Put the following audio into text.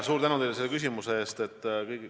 Suur tänu selle küsimuse eest!